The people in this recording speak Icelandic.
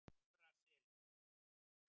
Efra Seli